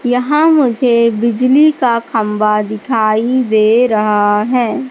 यहाँ मुझे बिजली का खंबा दिखाइ दे रहा है।